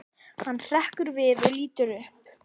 Hann hrekkur við og lítur upp.